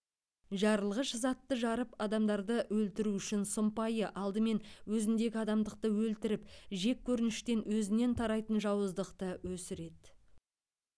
жарылғыш затты жарып адамдарды өлтіру үшін сұмпайы алдымен өзіндегі адамдықты өлтіріп жеккөрініштен өзінен тарайтын жауыздықты өсіреді